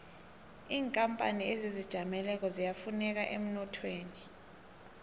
inkapani ezizijameleko ziyafuneka emnothweni